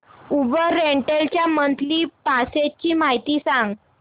Uber rental च्या monthly passes ची माहिती सांग